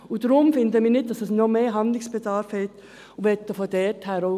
Deshalb finden wir, dass nicht noch mehr Handlungsbedarf besteht.